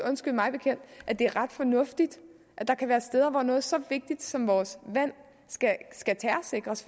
at det er ret fornuftigt at noget så vigtigt som vores vand terrorsikres